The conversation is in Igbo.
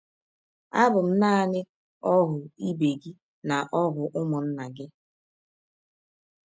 Abụ m naanị ọhụ ibe gị na ọhụ ụmụnna gị...